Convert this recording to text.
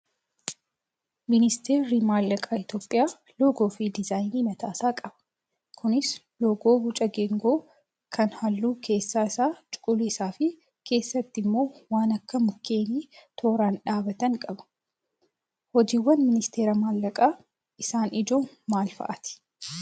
Ministeerri maallaqaa Itoophiyaa loogoo fi diizaayinii mataasaa qaba. Kunis loogoo boca geengoo kan halluun keessa isaa cuquliisaa fi keessatti immoo waan akka mukkeenii tooraan dhaabbatanii qaba. Hojiiwwan ministeera maallaqaa isaan ijoon maal fa'aati?